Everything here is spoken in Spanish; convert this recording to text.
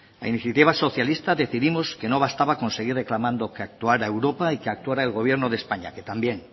a iniciativa socialista decidimos que no bastaba con seguir reclamando que actuara europa y que actuará el gobierno de españa que también